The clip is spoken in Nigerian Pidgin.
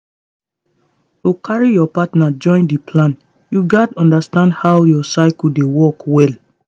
to carry your partner join the plan you gats understand how your cycle dey work well.